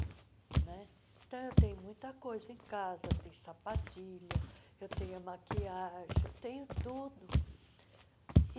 né Então, eu tenho muita coisa em casa, tem sapatilha, eu tenho maquiagem, eu tenho tudo.